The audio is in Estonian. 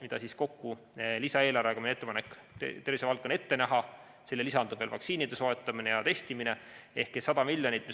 Need summad on ka lisaeelarvega, see on meie ettepanek, tervishoiuvaldkonda ette nähtud, sellele lisandub veel vaktsiinide soetamise ja testimise kulu.